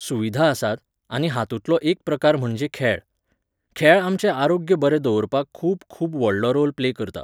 सुविधा आसात, आनी हातूंतलो एक प्रकार म्हणजे खेळ. खेळ आमचें आरोग्य बरें दवरपाक खूब खूब व्हडलो रोल प्ले करता